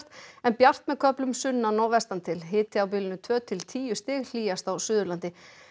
en bjart með köflum sunnan og vestan til hiti á bilinu tvö til tíu stig hlýjast á Suðurlandi